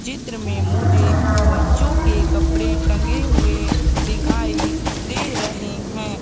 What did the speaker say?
चित्र में मुझे बच्चों के कपड़े टंगे हुए दिखाई दे रहे हैं।